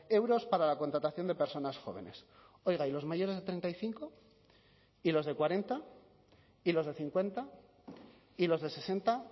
euros para la contratación de personas jóvenes oiga y los mayores de treinta y cinco y los de cuarenta y los de cincuenta y los de sesenta